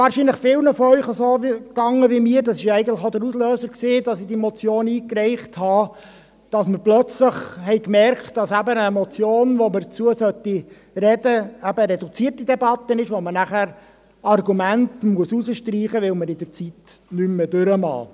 Wahrscheinlich erging es vielen von Ihnen so wie mir – dies war eigentlich auch der Auslöser dafür, dass ich diese Motion einreichte –, dass wir plötzlich merkten, dass für eine Motion, zu welcher man sprechen sollte, eben die reduzierte Debatte gilt, sodass man Argumente streichen muss, weil es zeitlich nicht mehr reicht.